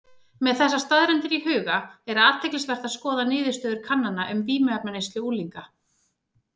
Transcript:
Með þessar staðreyndir í huga er athyglisvert að skoða niðurstöður kannana um vímuefnaneyslu unglinga.